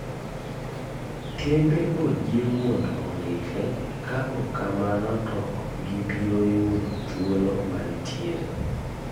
Kembe ojiw mondo ondikre ka ok kamano to ok gibiro yudo thuolo mantiere